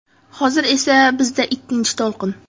Hozir esa bizda ikkinchi to‘lqin.